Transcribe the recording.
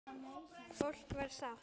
Fólk var sátt.